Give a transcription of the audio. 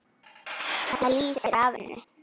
Það lýsir af henni.